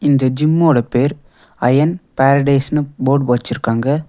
இந்த ஜிம்மோடு பேர் அயன் பாரடைஸ்னு போர்டு வெச்சிருக்காங்க.